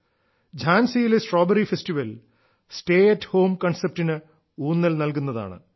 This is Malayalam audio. ഝാൻസിയിലെ സ്ട്രോബെറി ഫെസ്റ്റിവൽ ടമ്യേ മ േവീാല രീിരലു േന് ഊന്നൽ നൽകുന്നതാണ്